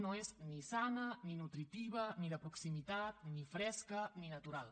no és ni sana ni nutritiva ni de proximitat ni fresca ni natural